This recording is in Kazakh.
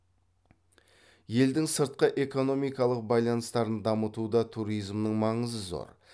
елдің сыртқы экономикалық байланыстарын дамытуда туризмнің маңызы зор